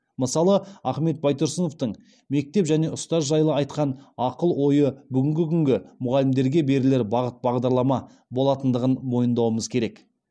мысалы ахмет байтұрсыновтың мектеп және ұстаз жайлы айтқан ақыл ойы бүгінгі күнгі мұғалімдерге берілер бағыт бағдарлама болатындығын мойындауымыз керек